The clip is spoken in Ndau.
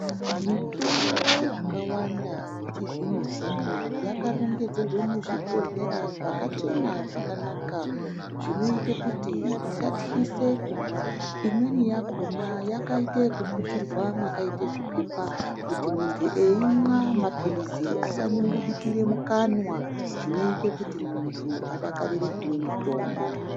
Mitombo yakawanda yechizvinozvino yakarongedzerwe muzvibhodhlera zvakachena zvakanaka zvinoite kuti isatyise kumwa. Imweni yakhona yakaite ekuputirwa mwakaite zviphepha kuti muntu eimwa mapilizi asanyungudukire mukanwa, zvinoite kuti muntu adakarire kumwe mutombo.